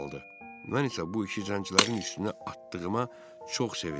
Mən isə bu işi zəncilərin üstünə atdığıma çox sevindim.